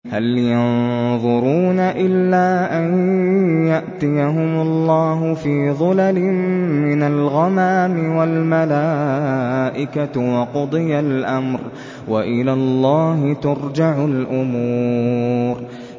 هَلْ يَنظُرُونَ إِلَّا أَن يَأْتِيَهُمُ اللَّهُ فِي ظُلَلٍ مِّنَ الْغَمَامِ وَالْمَلَائِكَةُ وَقُضِيَ الْأَمْرُ ۚ وَإِلَى اللَّهِ تُرْجَعُ الْأُمُورُ